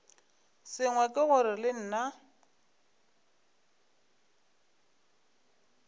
sengwe ke gore le nna